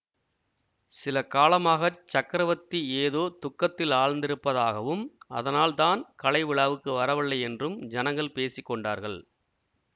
சில காலமாக சக்கரவர்த்தி ஏதோ துக்கத்தில் ஆழ்ந்திருப்பதாகவும் அதனால் தான் கலைவிழாவுக்கு வரவில்லையென்றும் ஜனங்கள் பேசி கொண்டார்கள்